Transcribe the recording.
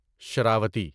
Sharavathi